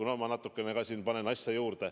No ma natukene liialdan.